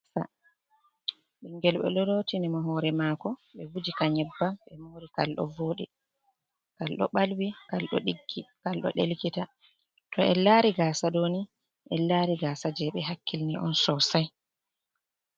Ɓingel ɓe ɗo lotinimo hore mako, ɓe hujika nyebbam, ɓe muri kal ɗo voɗi, kalɗo balwi, kal ɗo delkita. To en lari gasa ɗoni en lari gasa je ɓe hakkilini on sosai.